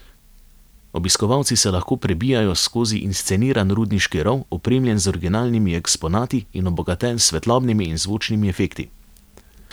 Obiskovalci se lahko prebijajo skozi insceniran rudniški rov, opremljen z originalnimi eksponati in obogaten s svetlobnimi in zvočnimi efekti.